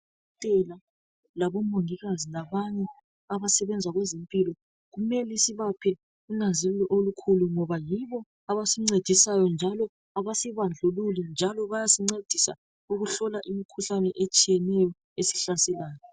Kudokotela labomongikazi labanye abasebenza kwezempilo kumele sibaphe unanzelelo olukhulu ngoba yibo abasincedisayo njalo abasibandlululi njalo baysincedisa ukuhlola imikhuhlane etshiyeneyo esihlaselayo.